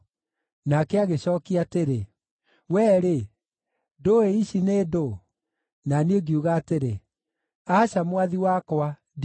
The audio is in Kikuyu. Nake agĩcookia atĩrĩ, “Wee-rĩ, ndũũĩ ici nĩ ndũũ?” Na niĩ ngiuga atĩrĩ, “Aca, Mwathi wakwa, ndiũĩ.”